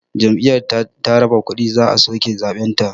Jam'iyyar da ta raba kuɗi za a soke zaɓenta